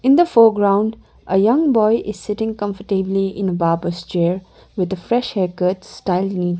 in the foreground a young boy is sitting comfortably in a barber's chair with a fresh haircut styled neatly.